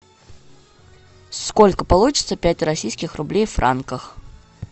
сколько получится пять российских рублей в франках